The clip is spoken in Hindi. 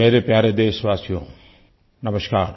मेरे प्यारे देशवासियों नमस्कार